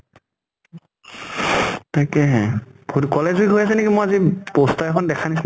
তাকেহে ফুত college week হৈ আছে নেকি মই আজি poster এখন দেখা নিচিনা